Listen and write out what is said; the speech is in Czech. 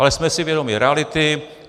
Ale jsme si vědomi reality.